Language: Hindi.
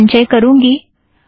दो बार संचय करुँगी